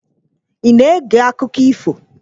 Ị na-ege akụkọ ifo?